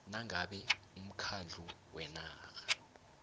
nangabe umkhandlu wenarha